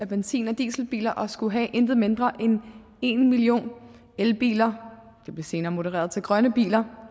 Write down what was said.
benzin og dieselbiler og skulle have ikke mindre end en million elbiler det blev senere modereret til grønne biler